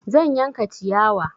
Zan yanka ciyawa.